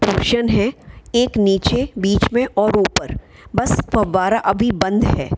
है एक नीचे बीच में और ऊपर। बस फव्वारा अभी बंद है।